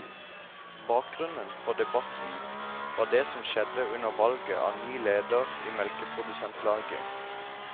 Bakgrunnen for debatten var det som skjedde under valget av ny leder i melkeprodusentlaget.